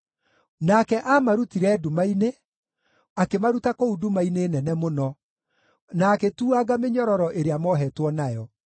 Nake aamarutire nduma-inĩ, akĩmaruta kũu nduma-inĩ nene mũno, na agĩtuanga mĩnyororo ĩrĩa moohetwo nayo.